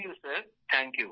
ধন্যবাদ স্যার